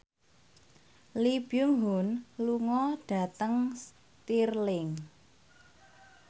Lee Byung Hun lunga dhateng Stirling